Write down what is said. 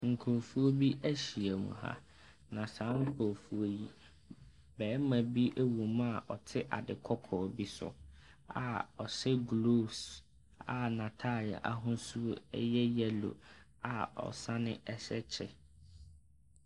Nkorofo bi ahyiamu ha, na saa nkorɔfoɔ yi bɛɛma bi ɛwɔm a ɔte ade kɔkɔɔ bi so a ɔhyɛ glooves a na ataade ahosuo ɛyɛ yɛlo a ɔsane ɛhyɛ kyɛ.